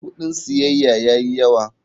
Kudin siyayya ya yi yawa.